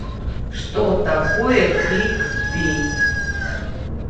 что такое кликбейт